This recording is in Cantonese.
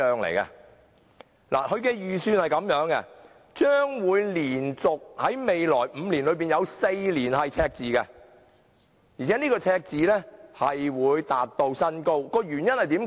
它預算在未來的連續5年中，會有4年出現赤字，而赤字更會達至新高，原因為何？